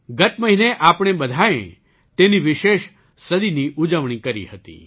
ગત મહિને આપણે બધાંએ તેની વિશેષ સદીની ઉજવણી કરી હતી